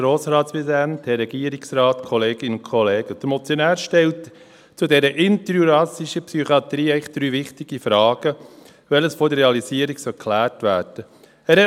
Der Motionär stellt zu dieser interjurassischen Psychiatrie eigentlich drei wichtige Fragen, die vor der Realisierung geklärt werden sollten.